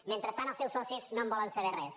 mentrestant els seus socis no en volen saber res